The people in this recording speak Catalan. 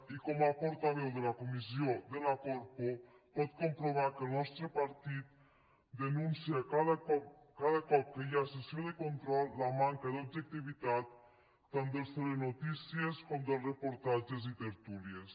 i com a portaveu de la comissió de la corpo pot comprovar que el nostre partit denuncia cada cop que hi ha sessió de control la manca d’objectivitat tant dels telenotícies com dels reportatges i tertúlies